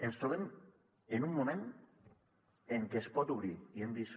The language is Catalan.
ens trobem en un moment en què es pot obrir i hem vist